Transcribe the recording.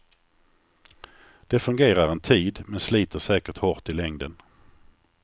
Det fungerar en tid, men sliter säkert hårt i längden.